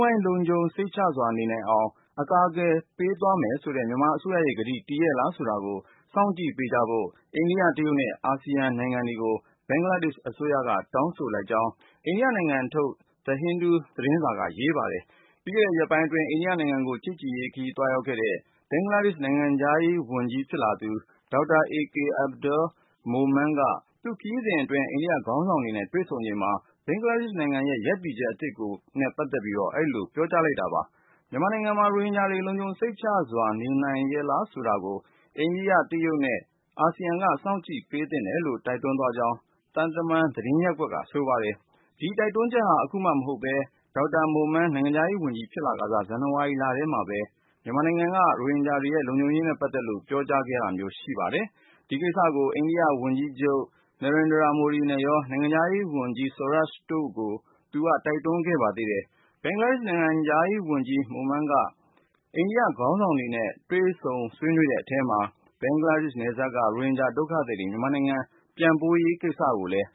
ဝိုင်း လုံခြုံစိတ်ချစွာနေနိုင်အောင် အကာအကွယ်ပေးသွားမယ်ဆိုတဲ့ မြန်မာအစိုးရရဲ့ကတိ တည်ရဲ့လားဆိုတာကို စောင့်ကြည့်ပေးကြဖို့ အိန္ဒိယ၊ တရုတ်နဲ့ အာဆီယံနိုင်ငံတွေကို ဘင်္ဂလားဒေ့ရှ်အစိုးရက တောင်းဆိုလိုက်ကြောင်း အိန္ဒိယနိုင်ငံထုတ် The Hindu သတင်းစာက ရေးသားပါတယ်။ ပြီးခဲ့တဲ့ရက်ပိုင်းအတွင်း အိန္ဒိယနိုင်ငံကို ချစ်ကြည်ရေးခရီးသွားရောက်ခဲ့တဲ့ ဘင်္ဂလားဒေ့ရှ် နိုင်ငံခြားရေးဝန်ကြီးဖြစ်လာသူ Dr. A.K. Abdul Momen က သူ့ခရီးစဉ်အတွင်း အိန္ဒိယခေါင်းဆောင်တွေနဲ့ တွေ့ဆုံချိန်မှာ ဘင်္ဂလားဒေ့ရှ်နိုင်ငံရဲ့ ရပ်တည်ချက်အသစ်နဲ့ ပတ်သက်လို့ အဲဒီလို ပြောကြားလိုက်တာပါ။ မြန်မာနိုင်ငံမှာ ရိုဟင်ဂျာတွေ လုံခြုံစိတ်ချစွာ နေနိုင်ရဲ့လားဆိုတာကို အိန္ဒိယ၊ တရုတ်နဲ့ အာဆီယံက စောင့်ကြည့်ပေး သင့်တယ်လို့ တိုက်တွန်းသွားကြောင်း သံတမန် သတင်းရပ်ကွက်က ဆိုပါတယ်။ ဒီတိုက်တွန်းချက်ဟာ အခုမှ မဟုတ်ပဲ Dr. Momen နိုင်ငံခြားရေးဝန်ကြီးဖြစ်လာခါစ ဇန်နဝါရီထဲမှာပဲ မြန်မာနိုင်ငံ ရိုဟင်ဂျာတွေရဲ့လုံခြုံရေးနဲ့ ပတ်သက်လို့ ပြောကြားခဲ့တာရှိပါတယ်။ ဒီကိစ္စကိုပဲ အိန္ဒိယဝန်ကြီးချုပ် Narendra Modiနဲ့ နိုင်ငံခြားရေးဝန်ကြီး Sushma Swaraj တို့ကိုလည်း သူက တိုက်တွန်းခဲ့တာပါ။ ဘင်္ဂလားဒေ့ရှ် နိုင်ငံခြားရေးဝန်ကြီး Dr. Momen က အိန္ဒိယခေါင်းဆောင်တွေနဲ့ ဆွေးနွေးတဲ့အထဲမှာ ဘင်္ဂလားနယ်စပ်က ရိုဟင်ဂျာဒုက္ခသည် တွေကို မြန်မာနိုင်ငံ ပြန်ပို့ရေးကိစ္စလည်း